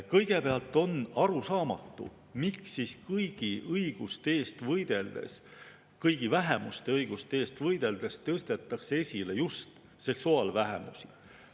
Kõigepealt on arusaamatu, miks siis kõigi õiguste eest võideldes, kõigi vähemuste õiguste eest võideldes tõstetakse esile just seksuaalvähemusi.